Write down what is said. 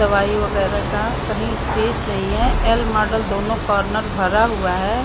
दवाई वगैरह का कहीं स्पेस नहीं हैं एल मॉडल दोनों कॉर्नर भरा हुआ हैं ।